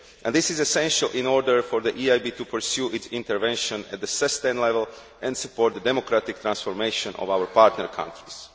This is essential in order for the EIB to pursue its intervention at a sustained level and support the democratic transformation of our partner countries.